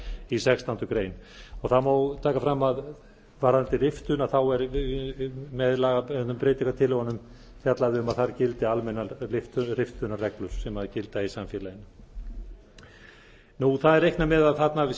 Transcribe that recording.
í sextándu grein það má taka fram að varðandi riftun er með breytingartillögunum fjallað um að þar gildi almennar riftunarreglur sem gilda í samfélaginu það er reiknað með að þarna sé